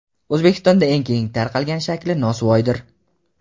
O‘zbekistonda eng keng tarqalgan shakli nosvoydir.